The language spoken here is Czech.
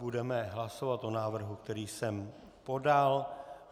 Budeme hlasovat o návrhu, který jsem podal.